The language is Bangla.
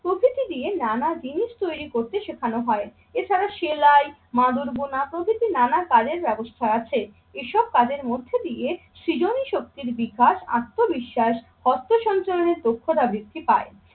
প্রকৃতি দিয়ে নানা জিনিস তৈরি করতে শেখানো হয়। এছাড়া সেলাই, মাদুর বোনা, প্রভৃতি নানা কালের ব্যবস্থা আছে। এসব কাজের মধ্যে দিয়ে সৃজনী শক্তির বিকাশ, আত্মবিশ্বাস, অর্থ সঞ্চালনের দক্ষতা বৃদ্ধি পায়।